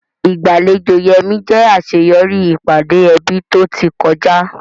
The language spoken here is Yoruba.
Ìgbàlejò Yemi jẹ́ àṣeyọrí ìpàdé ẹbí tó ti kọjá.